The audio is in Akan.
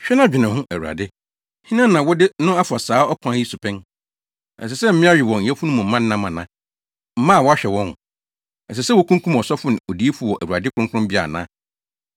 “Hwɛ na dwene ho, Awurade: Hena na wode no afa saa ɔkwan yi so pɛn? Ɛsɛ sɛ mmea we wɔn yafunumma nam ana, mma a wɔahwɛ wɔn? Ɛsɛ sɛ wokunkum ɔsɔfo ne odiyifo wɔ Awurade kronkronbea ana?